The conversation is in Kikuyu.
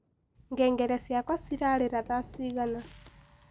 ngengere cĩakwa cirarira thaa cĩĩgana